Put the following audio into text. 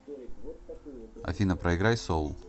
афина проиграй соул